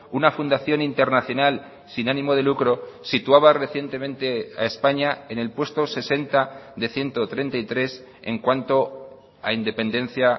una fundación internacional sin ánimo de lucro situaba recientemente a españa en el puesto sesenta de ciento treinta y tres en cuanto a independencia